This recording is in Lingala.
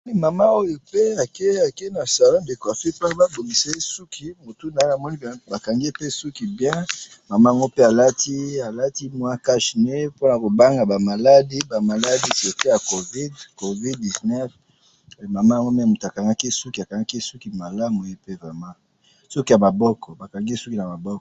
mama oyo pe akeyi akeyi na salon de coiffure po baboungisa ye souki ,moutou naye bakangiye souki bien pe namoni mama oyo alati cache nez pona ko banga ba maladie ba maladi covid 19 pona ba maladi mama oyo akangakiye akangakiye souki bien, souki ya maboko